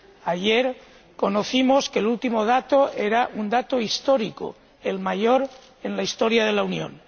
Ayer supimos que el último dato era un dato histórico, el mayor en la historia de la Unión.